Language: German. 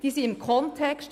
Sie stehen im Kontext.